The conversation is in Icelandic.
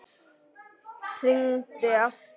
Hringi aftur!